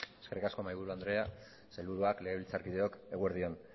zurea da hitza eskerrik asko mahaiburu andrea sailburuak legebiltzarkideok eguerdi on